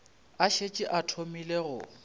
a šetše a thomile go